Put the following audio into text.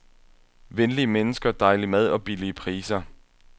Venlige mennesker, dejlig mad og billige priser.